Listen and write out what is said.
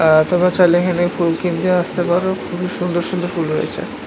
আআআ তোমরা চাইলে এখানে ফুল কিনতে আসতে পারো খুবই সুন্দর সুন্দর ফুল রয়েছে